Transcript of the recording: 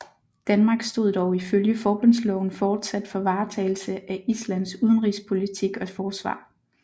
Danmark stod dog ifølge forbundsloven fortsat for varetagelse af Islands udenrigspolitik og forsvar